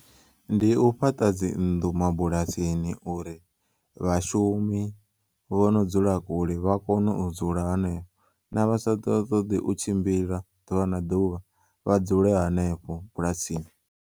Ndi u fhaṱa dzi nnḓu mabulasini uri vhashumi vhono dzula kule vha kono u dzula henefho na vha sa ṱoḓi u tshimbila ḓuvha na ḓuvha vha dzule hanefho bulasini.